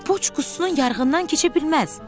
Poçt qutusunun yarığından keçə bilməz.